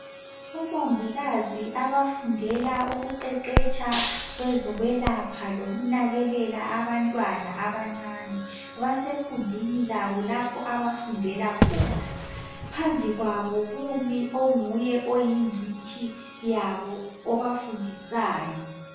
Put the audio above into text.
Omongikazi abafundela ukuqeqetsha kwezokwelapha lokunakekela abantwana abancane basekhumbini labo lapha abafundela khona. Phambi kwabo kumi onguye oyingcitshi yabo obafundisayo.